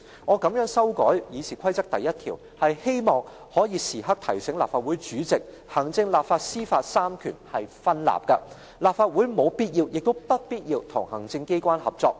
"我這樣修改《議事規則》第1條，是希望可以時刻提醒立法會主席，行政、立法、司法這三權是分立的，立法會沒有必要，亦不必要與行政機關合作。